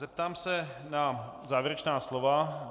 Zeptám se na závěrečná slova.